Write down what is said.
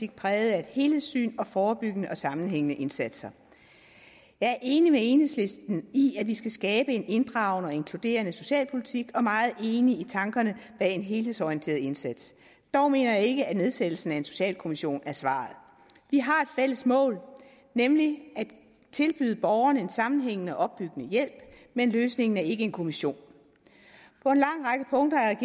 præget af et helhedssyn og forebyggende og sammenhængende indsatser jeg er enig med enhedslisten i at vi skal skabe en inddragende og inkluderende socialpolitik og er meget enig i tankerne bag en helhedsorienteret indsats dog mener jeg ikke at nedsættelsen af en socialkommission er svaret vi har et fælles mål nemlig at tilbyde borgerne en sammenhængende og opbyggende hjælp men løsningen er ikke en kommission på en lang række punkter er